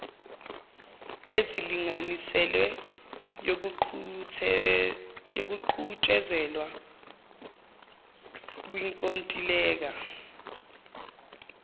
ezilinganiselwe ziyoqhutshezelwa kwinkontileka